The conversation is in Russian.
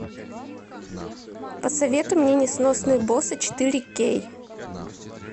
посоветуй мне несносные боссы четыре кей